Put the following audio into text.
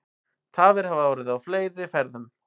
Tafir hafa orðið í fleiri ferðum